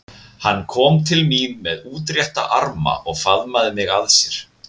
Hann kom til mín með útrétta arma og faðmaði mig að sér.